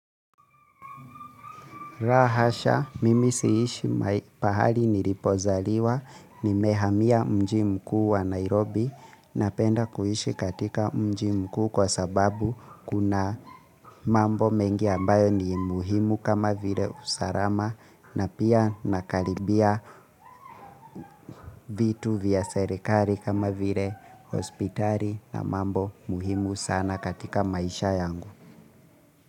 La hasha, mimi siishi pahali nilipozaliwa, niimehamia mji mkuu wa Nairobi napenda kuishi katika mji mkuu kwa sababu kuna mambo mengi ambayo ni muhimu kama vile usalama na pia nakaribia vitu vya serikali kama vile hospitali na mambo muhimu sana katika maisha yangu.